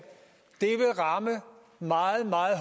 vil ramme meget meget